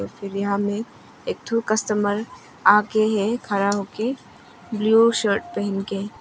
फिर यहां में एक ठो कस्टमर आ के हैं खड़ा हो के ब्लू शर्ट पहन के।